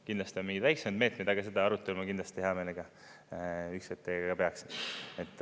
Kindlasti on mingeid väiksemaid meetmeid, aga seda arutelu ma kindlasti hea meelega teiega peaksin.